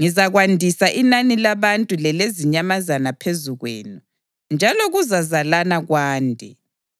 Ngizakwandisa inani labantu lelezinyamazana phezu kwenu: njalo kuzazalana kwande.